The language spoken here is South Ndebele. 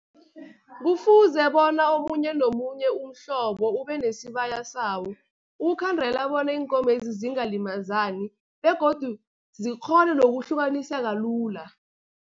Kufuze bona omunye nomunye umhlobo ube nesibaya sawo, ukukhandela bona iinkomezi zingalimazani begodu zikghone nokuhlukaniseka lula.